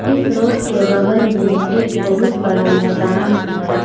इस रोड के बगल में एक बहुत बड़ा मैदान है।